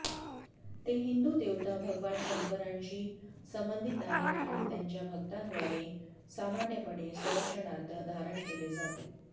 ते हिंदू देवता भगवान शंकराशी संबंधित आहेत आणि त्याच्या भक्तांद्वारे सामान्यपणे संरक्षणार्थ धारण केले जाते